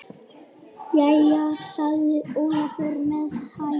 Jæja, sagði Ólafur með hægð.